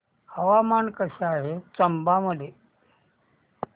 हवामान कसे आहे चंबा मध्ये